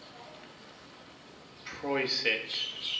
proyset